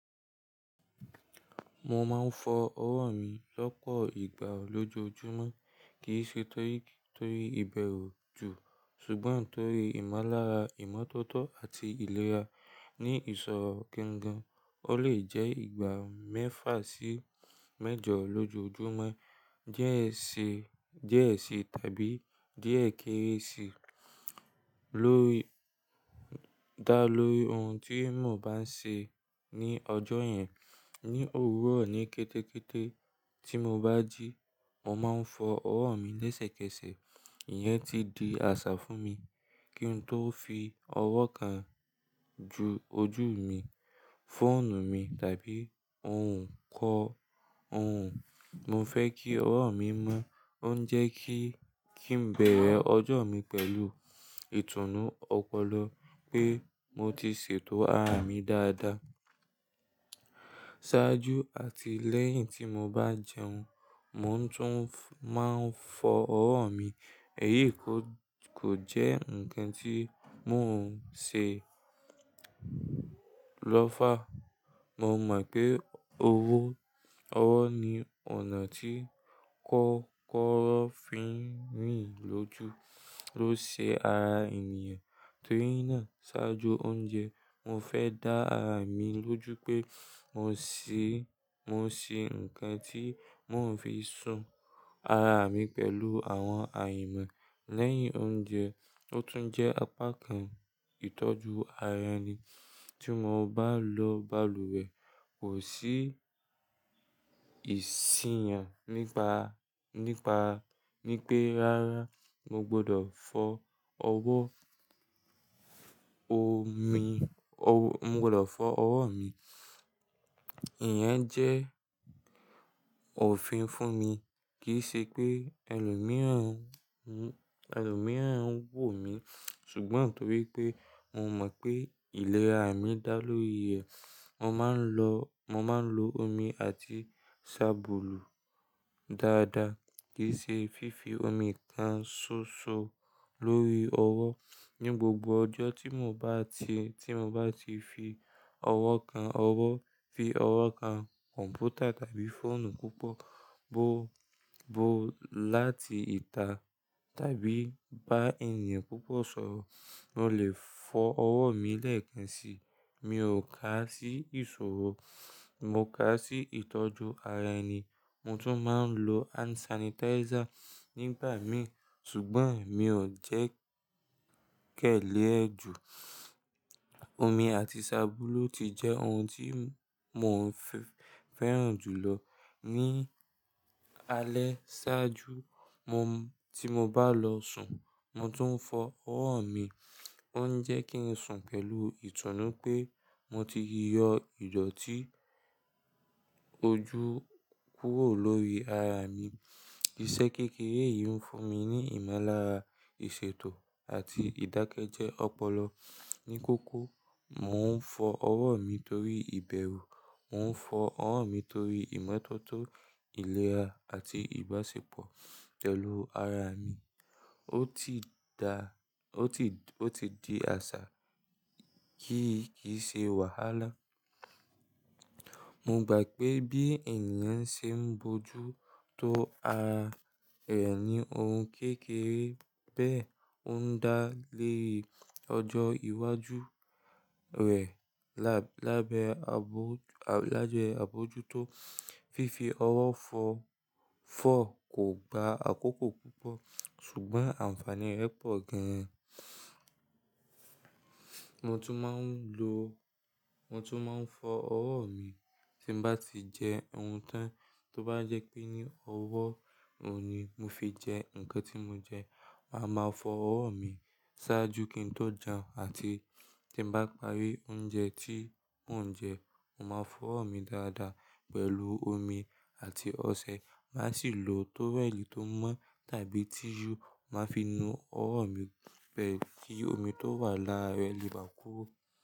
Mo máa ń fọ ọwọ́ mi lọ́pọ̀ ìgbà lójoojúmọ́, kì í ṣe torí, torí ìbẹ̀rù jù, ṣùgbọ́n torí ìmọ̀lára ìmọ́tótó àti ìlera. Ni ìsọ̀rọ̀ kíńgan, ó lè jẹ́ ìgbà mẹ́fà sí méjọ lójoojúmọ́, díẹ̀ sí, díẹ̀ sí tàbí díẹ̀ kéré sí lórí, dá lórí ohun tí mo bá ń ṣe ní ọjọ́ yẹn. Ni òwúrọ̀ ní kétékété tí mo bá jí, mo máa ń fọ ọwọ́ mi lẹ́sẹ̀kẹsẹ̀. Íyẹn ti di àṣà fún mi. Kí n tó fi ọwọ́ kan ojú mi, fóònù mi, tàbí oun nkan, oun. Mo fẹ́ kí ọwọ́ mi mọ́, ó ń jẹ́ kí, kí n bẹ̀rẹ̀ ọjọ́ mi pẹ̀lú ìtùnú ọpọlọ pé mo ti ṣètò ara mi dáadáa. Sáájú àti lẹ́yìn tí mo bá jẹun, mo tún máa ń fọ ọwọ́ mi. Èyí kò, kò jẹ́ ǹkan tí mò ń ṣe lọ́fà. Mo mọ̀ pé owó, ọwọ́ ni ọ̀nà tí kọ́kọ́ró fi ń rìn lójú, ló ṣe ara ènìyàn. Torí náà ṣáájú oúnjẹ mo fẹ́ dá ara mi lójú pé mo ṣí, mo ṣí ǹkan tí mò ń fi sùn ara mi pẹ̀lú àwọn àìmọ̀. Lẹ́yìn oúnjẹ ó tún jẹ́ apá kan ìtọ́jú ara ẹni. Tí mo bá lọ balùwẹ̀ kò sí ìji yàn nípa, nípa, ní pe rárá mo gbọdọ̀ fọ ọwọ́ omi, mo gbọdọ̀ fọ ọwọ́ mi. Ìyẹn jẹ́ òfin fún mi. Kì í ṣe pé ẹlòmíràn, ẹlòmíràn ń wò mí, ṣùgbọ́n torí pé mo mọ̀ pé ìlera mi dá lórí ẹ̀. Mo máa ń lọ, mo máa ń lo omi àti sábùlù dáadáa. Kì í ṣe fífi omi kan ṣóṣo lórí ọwọ́. Ni gbogbo ọjọ́ tí mo bá ti, tí mo bá ti fi ọwọ́ kan ọwọ́, fi ọwọ́ kan kọ̀m̀pútà tàbí fóònù púpọ̀, bo, bo láti ìta tàbí bá ènìyàn púpọ̀ sọ̀rọ̀, mo lè fọ ọwọ́ mi lẹ́ẹ̀kan sí i. Mi ò ká sí ìṣòro, mo ká sí ìtọ́jú ara ẹni. Mo tún máa ń lo hand sanitizer nígbà mìíràn, ṣùgbọ́n mi ò jẹ́ kẹ̀lé ẹ ju. Omi àti sábùlù ti jẹ́ ohun tí mò ń fẹ́ràn jù lọ. Ni alẹ́ ṣáájú, tí mo bá lọ sùn, mo tún ń fọ ọwọ́ mi. Ó ń jẹ́ kí n sùn pẹ̀lú ìtùnú pé mo ti yọ ìdọ̀tí ojú kúrò lórí ara mi. Iṣẹ́ kékeré yìí ń fún mi ní ìmọ̀lára ìṣètò àti ìdákẹ́jẹ́ ọpọlọ. Ni kókó, mò ń fọ ọwọ́ mi torí ìbẹ̀rù, mò ń fọ ọwọ́ mi torí ìmọ́tótó ìlera àti ìbáṣepọ̀ pẹ̀lú ara mi. Ó ti da, ó ti, ó ti di àṣà kì í, kì í ṣe wàhálà. Mo gbà pé bí ènìyàn ṣe ń bojútó ara rẹ̀ ní ohun kékeré bẹ́ẹ̀, ó ń dá léè ọjọ́ iwájú rẹ̀ lábẹ́, lábẹ́ abojútó. Fífi ọwọ́ fọ, fọ kò gba àkókò púpọ̀ ṣùgbọ́n ànfàní rẹ̀ pọ̀ gan. Mo tún máa ń lo, mo tún máa ń fọ ọwọ́ mi tí bá ti jẹ ohun tán. Tó bá jẹ́ pé ní ọwọ́ òun ni mo fi jẹ ǹkan tí mo jẹ, màá ma fọ ọwọ́ mi sáájú kí n tó jẹun àti tí bá parí oúnjẹ tí n jẹ, mo máa fọ ọwọ́ mi dáadáa pẹ̀lú omi àti ọṣẹ. Màá sì lo tówẹ́ẹ̀lì tó mọ́ tàbí tíìsù, màá fi nu ọwọ́ mi pẹ̀lú kí omi tó wà lára rẹ̀ lè bà kúró.